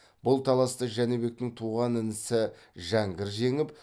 бұл таласты жәнібектің туған інісі жәңгір жеңіп